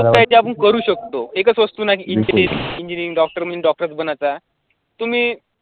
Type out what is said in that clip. त्याची आपण करू शकतो, एकच वस्तु नाही engineering doctor म्हणजे doctor चं बनायचं तुम्ही